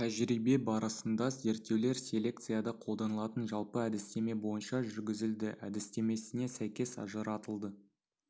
тәжірибе барысында зерттеулер селекцияда колданылатын жалпы әдістеме бойынша жүргізілді әдістемесіне сәйкес ажыратылды